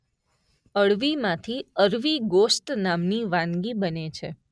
અળવીમાંથી અરવી ગોશ્ત નામની વાનગી બને છે.